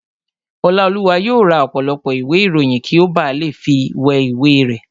Ọláolúwa yóò ra ọ̀pọ̀lọpọ̀ ìwé ìròyìn kí ó ba lè fi wé ìwé rẹ̀